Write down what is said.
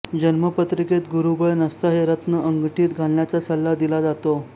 जन्मपत्रिकेत गुरुबळ नसता हे रत्न अंगठीत घालण्याचा सल्ला दिला जातो